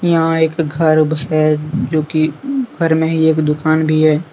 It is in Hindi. यहाँ एक घर है जो की घर में ही एक दुकान भी है।